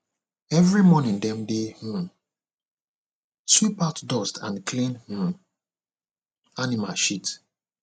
every morning dem dey um sweep out dust and clean um animal shit